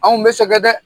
Anw bɛ sɛgɛn dɛ